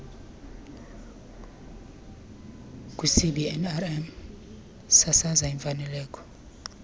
kwicbnrm sasaza imfanelo